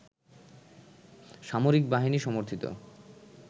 সামরিক বাহিনী সমর্থিত